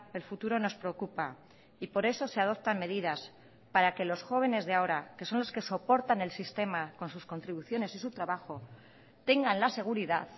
el futuro nos preocupa y por eso se adoptan medidas para que los jóvenes de ahora que son los que soportan el sistema con sus contribuciones y su trabajo tengan la seguridad